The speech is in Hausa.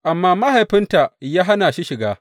Amma mahaifinta ya hana shi shiga.